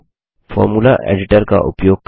formula editor का उपयोग करना